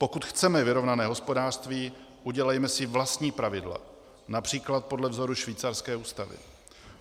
Pokud chceme vyrovnané hospodářství, udělejme si vlastní pravidla, například podle vzoru švýcarské ústavy.